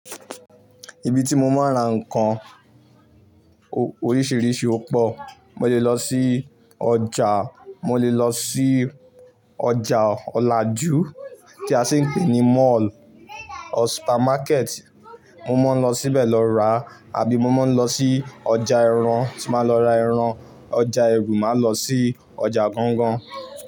Ibi tí mo máa ń ra nǹkan oríṣiríṣi ó pọ̀. Mo lè lọ sí ọjà, mo lè lọ sí ọjà ọlajú tí a sì ń pè ní mall or supermarket. Mo mo ń lọ síbẹ̀ lọ rà àbí mo máa ń lọ sí ọjà ìran tí máa lọ ra ẹran. Ọjà èru, màá lọ sí ọjà gangan.